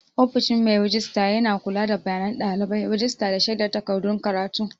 Ofishin mai rejista yana kula da bayanan ɗalibai, rajista, da shaidar takardun karatu.